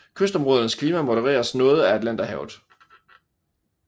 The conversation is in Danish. Kystområdernes klima modereres noget af Atlanterhavet